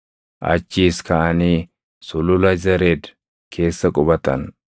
Achiis kaʼanii Sulula Zered keessa qubatan.